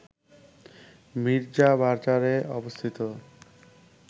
মীর্জাবাজারে অবস্থিত